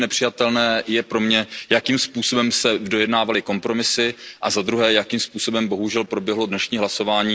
To, co je pro mě nepřijatelné, je, jakým způsobem se dojednávali kompromisy, a za druhé, jakým způsobem bohužel proběhlo dnešní hlasování.